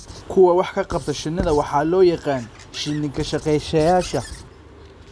Kuwa wax ka qabta shinnida waxaa loo yaqaan "shini kashaqeyasha."